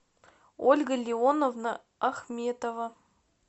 ольга леоновна ахметова